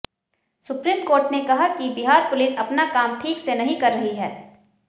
supreme court ने कहा कि बिहार पुलिस अपना काम ठीक से नहीं कर रही है